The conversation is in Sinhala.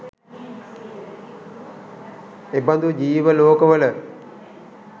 එබඳු ජීව ලෝකවල